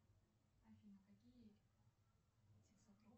афина какие